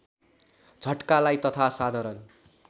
झट्कालाई तथा साधारण